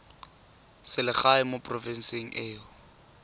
selegae mo porofenseng e o